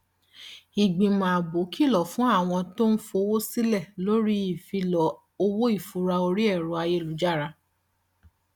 ìgbìmọ ààbò kìlọ fún àwọn tí ń fowó sílẹ lórí ìfilọ owó ìfura orí ẹrọ ayélujára